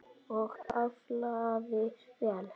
Og aflaði vel.